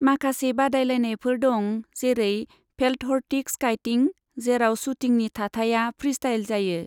माखासे बादायलायनायफोर दं, जेरै फेल्टहर्टिग स्काईटिं, जेराव शुटिंनि थाथाया फ्रीस्टाइल जायो।